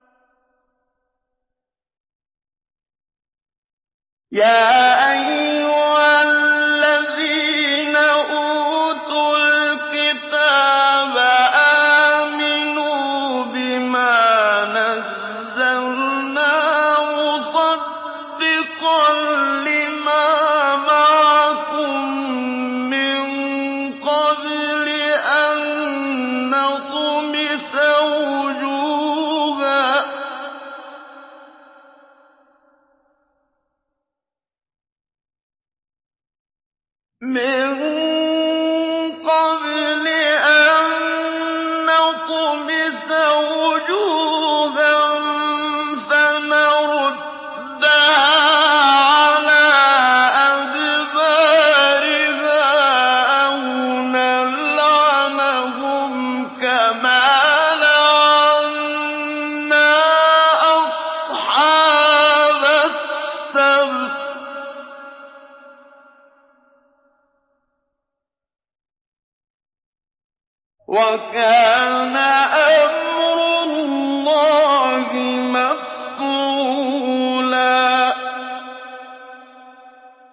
يَا أَيُّهَا الَّذِينَ أُوتُوا الْكِتَابَ آمِنُوا بِمَا نَزَّلْنَا مُصَدِّقًا لِّمَا مَعَكُم مِّن قَبْلِ أَن نَّطْمِسَ وُجُوهًا فَنَرُدَّهَا عَلَىٰ أَدْبَارِهَا أَوْ نَلْعَنَهُمْ كَمَا لَعَنَّا أَصْحَابَ السَّبْتِ ۚ وَكَانَ أَمْرُ اللَّهِ مَفْعُولًا